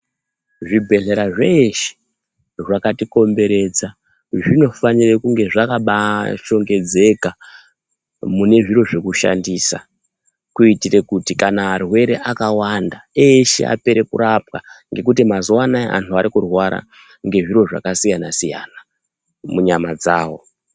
Zvibhehlera zvese zvakatikomberedza zvinofanire kunge zvakabaashongedzeka. Mune zviro zvekushandisa kuitire kuti kana arwere akawanda, eshe apere kurapwa ngekuti mazuwa anaya anhu arikurwara ngezviro zvakasiyana-siyana munyama dzawo.